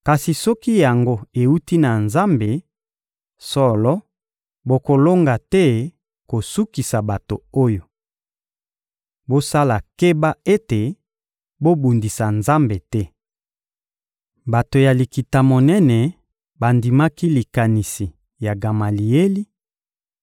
Kasi soki yango ewuti na Nzambe, solo, bokolonga te kosukisa bato oyo. Bosala keba ete bobundisa Nzambe te. Bato ya Likita-Monene bandimaki likanisi ya Gamalieli,